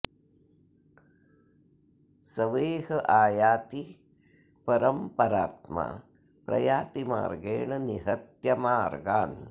सवेह आयाति परं परात्मा प्रयाति मार्गेण निहत्य मार्गान्